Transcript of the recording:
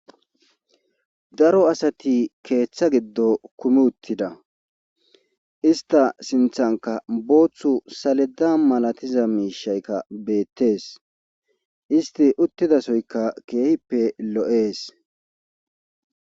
daro asati keeththa giddo kumi uttida ista sinthanka booththu saleda malatiza miishaykka beettees isti uttidasoyka keehippe lo7ees